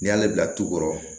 N'i y'ale bila tukɔrɔ